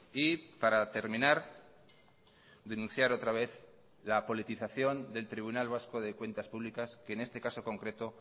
y para terminar denunciar otra vez la politización del tribunal vasco de cuentas públicas que en este caso concreto